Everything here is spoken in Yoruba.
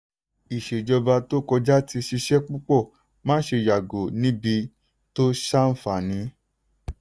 ìṣèjọba tó kọjá ti ṣiṣẹ́ púpọ̀ máṣe yàgò níbi tó ṣàǹfààní.